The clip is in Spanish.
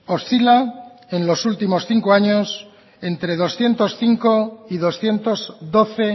oscila en los últimos cinco años entre doscientos cinco y doscientos doce